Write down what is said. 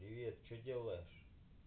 привет что делаешь